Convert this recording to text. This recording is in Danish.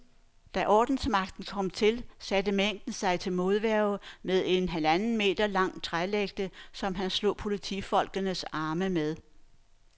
Da ordensmagten kom til, satte manden sig til modværge med en halvanden meter lang trælægte, som han slog politifolkenes arme med.